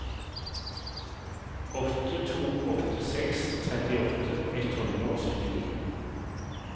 åtte to åtte seks trettiåtte ett hundre og syttini